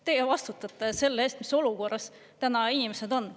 Teie vastutate selle eest, mis olukorras täna inimesed on.